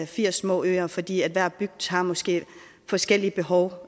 firs små øer fordi hver bygd måske har forskellige behov